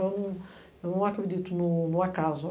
Eu eu não acredito no no acaso.